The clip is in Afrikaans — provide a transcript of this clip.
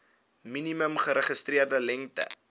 minimum geregistreerde lengte